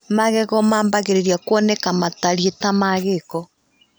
Magego magaambĩrĩria kuoneka matariĩ ta ma gĩko.